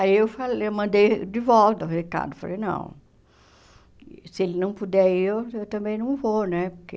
Aí eu falei eu mandei de volta o recado, falei, não, se ele não puder ir, eu eu também não vou, né, porque...